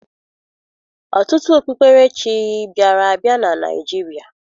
Ọtụtụ okpukperechi bịara abịa na Naịjirịa